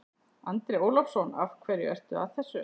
Andri Ólafsson: Af hverju ertu að þessu?